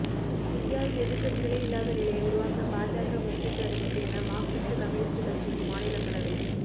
இந்தியாவில் எதிா்க்கட்சிகளே இல்லாத நிலையை உருவாக்க பாஜக முயற்சித்து வருகிறது என மாா்க்சிஸ்ட் கம்யூனிஸ்ட் கட்சியின் மாநிலங்களவை